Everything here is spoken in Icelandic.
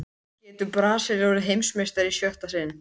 Getur Brasilía orðið Heimsmeistari í sjötta sinn?